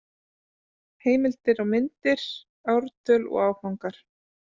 Heimildir og myndir: Ártöl og Áfangar.